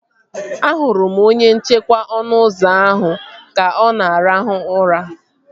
Ahụrụ m onye nchekwa ọnụ ụzọ ahụ ka ọ na arahụ ụra